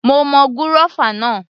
Mo mọ gúrọ́fà náà